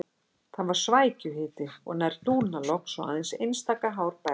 Það var svækjuhiti og nær dúnalogn svo aðeins einstaka hár bærðist á höfði.